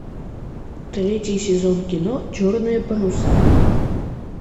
третий сезон кино черные паруса